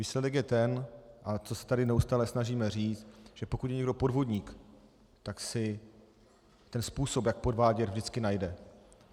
Výsledek je ten, a to se tady neustále snažíme říct, že pokud je někdo podvodník, tak si ten způsob, jak podvádět, vždycky najde.